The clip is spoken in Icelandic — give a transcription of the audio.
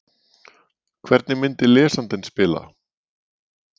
Hvernig myndi lesandinn spila?